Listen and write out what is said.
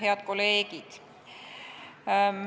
Head kolleegid!